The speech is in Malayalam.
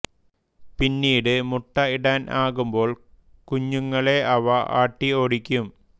പിന്നീട് മുട്ട ഇടാൻ ആകുമ്പോൾ കുഞ്ഞുങ്ങളെ ഇവ ആട്ടി ഓടിക്കും